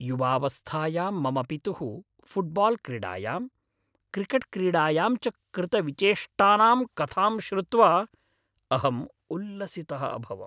युवावस्थायां मम पितुः फ़ुट्बाल् क्रीडायां, क्रिकेट् क्रीडायां च कृतविचेष्टानां कथां श्रुत्वा अहम् उल्लसितः अभवम्।